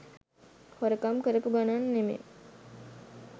හොරකම් කරපු ගණන් නෙමේ.